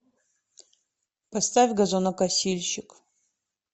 поставь газонокосильщик